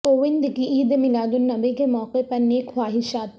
کووند کی عید میلادالنبی کے موقع پر نیک خواہشات